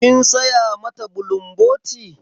Kin saya mata bulumboti?